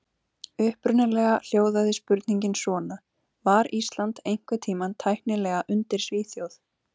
Upprunalega hljóðaði spurningin svona: Var Ísland einhvern tímann tæknilega undir Svíþjóð?